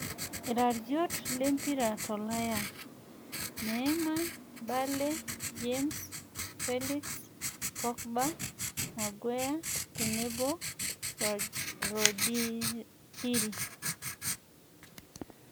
iraiot lempira tolaya; Neima, bale, james, felix, Pogba, maguea tenebo Rodiri